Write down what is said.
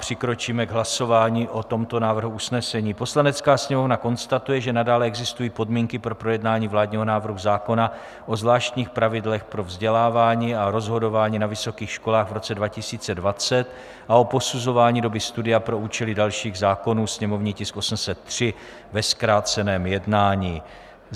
Přikročíme k hlasování o tomto návrhu usnesení: "Poslanecká sněmovna konstatuje, že nadále existují podmínky pro projednání vládního návrhu zákona o zvláštních pravidlech pro vzdělávání a rozhodování na vysokých školách v roce 2020 a o posuzování doby studia pro účely dalších zákonů, sněmovní tisk 803, ve zkráceném jednání."